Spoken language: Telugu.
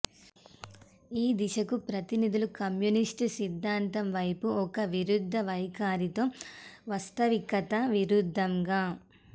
ఈ దిశకు ప్రతినిధులు కమ్యూనిస్ట్ సిద్ధాంతం వైపు ఒక విరుద్ధ వైఖరి తో వాస్తవికత విరుద్దంగా